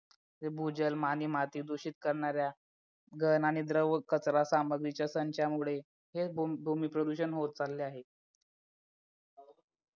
भूजल आणि माती दूषित करणाऱ्या घन आणि द्रव्य कचरा सामग्रीच्या संचयनामुळे हे भूमी प्रदूषण होत चालले आहे